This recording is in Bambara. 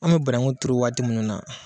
An be bananku tuuru waati munnu na